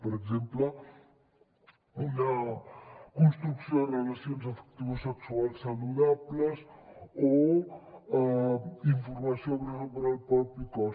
per exemple una construcció de relacions afectivosexuals saludables o informació sobre el propi cos